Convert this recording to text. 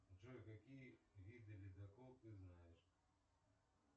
джой какие виды ледокол ты знаешь